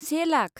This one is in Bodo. से लाख